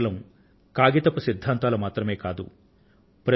అవి కేవలం కాగితపు సిద్ధాంతాలు మాత్రమే కాదు